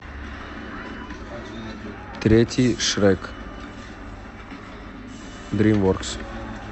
третий шрек дримворкс